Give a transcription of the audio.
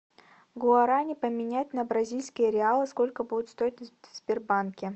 гуарани поменять на бразильские реалы сколько будет стоить в сбербанке